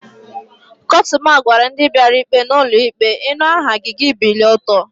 Kotuma gwara ndi biara ikpe n'ulo ikpe, "inu aha gi, gi ebilie oto"